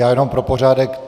Já jenom pro pořádek.